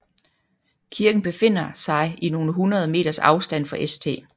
Kirken befinder sig i nogle hundrede meters afstand fra St